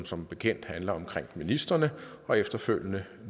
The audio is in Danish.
som bekendt handler om ministrene og efterfølgende